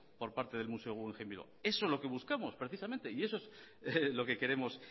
por parte del museo guggenheim bilbao eso es lo que buscamos precisamente y eso es en lo que queremos